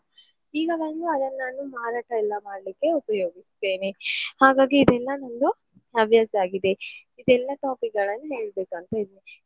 ಈಗ ಬಂದು ಅದನ್ನು ನಾನು ಮಾರಾಟ ಎಲ್ಲ ಮಾಡ್ಲಿಕ್ಕೆ ಉಪಯೋಗಿಸ್ತೇನೆ. ಹಾಗಾಗಿ ಇದೆಲ್ಲ ನಂದು ಹವ್ಯಾಸ ಆಗಿದೆ ಇದೆಲ್ಲ topic ಗಳನ್ನು ಹೇಳ್ಬೇಕಂತ ಇದ್ದೆ.